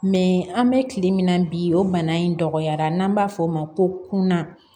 an bɛ kile min na bi o bana in dɔgɔyara n'an b'a fɔ o ma ko kunna